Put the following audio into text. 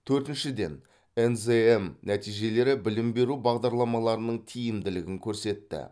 төртіншіден нзм нәтижелері білім беру бағдарламаларының тиімділігін көрсетті